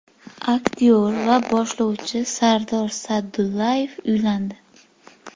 Aktyor va boshlovchi Sardor Saydullayev uylandi.